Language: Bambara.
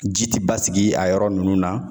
Ji ti basigi a yɔrɔ nunnu na